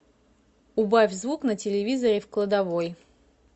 убавь звук на телевизоре в кладовой